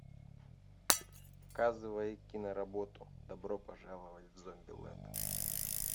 показывай киноработу добро пожаловать в зомбилэнд